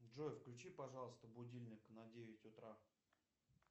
джой включи пожалуйста будильник на девять утра